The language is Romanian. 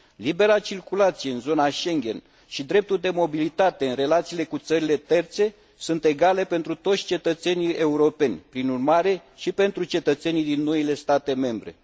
Libera circulație în zona Schengen și dreptul de mobilitate în relațiile cu țările terțe sunt egale pentru toți cetățenii europeni, prin urmare și pentru cetățenii din noile state membre.